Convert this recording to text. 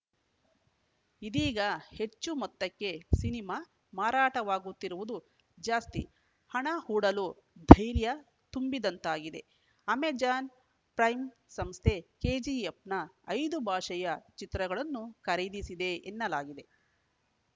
ಇದೀಗ ಹೆಚ್ಚು ಮೊತ್ತಕ್ಕೆ ಸಿನಿಮಾ ಮಾರಾಟವಾಗುತ್ತಿರುವುದು ಜಾಸ್ತಿ ಹಣ ಹೂಡಲು ಧೈರ್ಯ ತುಂಬಿದಂತಾಗಿದೆ ಅಮೆಜಾನ್‌ ಪ್ರೈಮ್‌ ಸಂಸ್ಥೆ ಕೆಜಿಎಫ್‌ನ ಐದು ಭಾಷೆಯ ಚಿತ್ರಗಳನ್ನೂ ಖರೀದಿಸಿದೆ ಎನ್ನಲಾಗಿದೆ